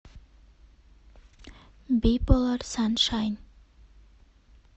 биполар саншайн